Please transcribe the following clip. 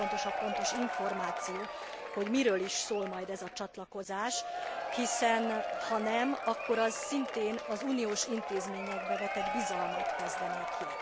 Nagyon fontos a pontos információ, hogy miről is szól majd ez a csatlakozás, hiszen ha nem, akkor az szintén az uniós intézményekbe vetett bizalmat kezdené ki.